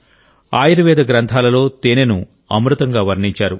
ఆయుర్వేద గ్రంథాలలో తేనెను అమృతంగా వర్ణించారు